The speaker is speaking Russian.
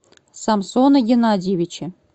самсона геннадьевича